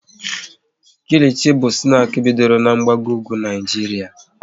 Kilichi bụ snaki bidoro n'mgbago ugwu Naijiria